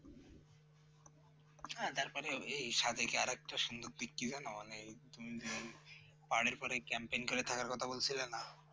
হ্যাঁ তারপরে এই সাদেকে আরেকটা সুন্দর দিক কি জানো মানে তুমি যে পানি পড়ে camping করে থাকার কথা বলছিলে না